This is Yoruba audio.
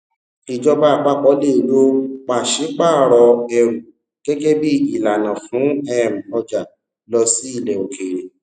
ìjọba àpapọ le lo pàṣípààrọ ẹrù gẹgẹ bi ìlànà fún um ọjà lọ sí ilẹ òkèèrè